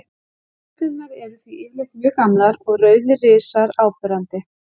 Stjörnurnar eru því yfirleitt mjög gamlar og rauðir risar áberandi.